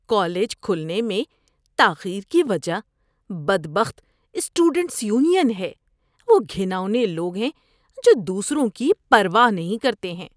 ‏College کھلنے میں تاخیر کی وجہ بدبخت اسٹوڈنٹس یونین ہے، وہ گھناؤنے لوگ ہیں جو دوسروں کی پرواہ نہیں کرتے ہیں۔